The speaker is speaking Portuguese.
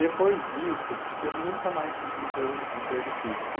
Depois disso, eu nunca mais tive emprego emprego fixo.